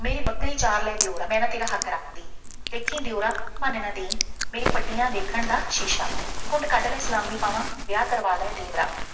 ਮੇਰੀ ਬੱਕਰੀ ਚਾਰ ਲੈ ਦਿਉਰਾ, ਮੈਂ ਨਾ ਤੇਰਾ ਹੱਕ ਰੱਖਦੀ, ਦੇਖੀ ਦਿਉਰਾ, ਭੰਨ ਨਾ ਦੇਈਂ, ਮੇਰੀਆਂ ਪੱਟੀਆਂ ਦੇਖਣ ਦਾ ਸ਼ੀਸ਼ਾ, ਘੁੰਡ ਕੱਢ ਲੈ, ਸਲਾਮੀ ਪਾਵਾਂ ਵਿਆਹ ਕਰਵਾ ਲੈ ਦੇਵਰਾ।